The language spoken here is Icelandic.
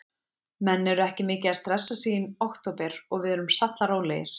Menn eru ekki mikið að stressa sig í október og við erum sallarólegir.